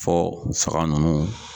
Fɔ fanga nunnu.